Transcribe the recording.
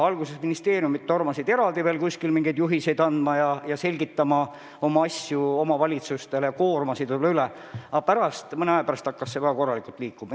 Alguses ministeeriumid tormasid eraldi veel kuskile mingeid juhiseid andma ja asju omavalitsustele selgitama, koormates need võib-olla üle, aga mõne aja pärast hakkas kõik korralikult liikuma.